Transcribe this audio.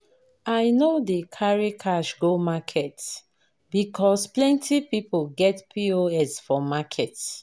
I no dey carry cash go market because plenty pipo get POS for market.